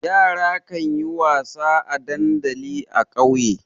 Yara kan yi wasa a dandali a ƙauye.